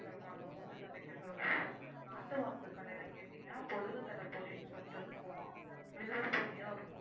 நாட்டு மருந்து கடைல கேடிங்கான பொடுகு தொல்லைக்கு பொடி வில்வ பொடியோ ஏதோ,